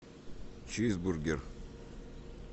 чизбургер